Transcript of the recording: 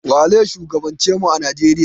Waze shugaban ce mu a Nijeriya?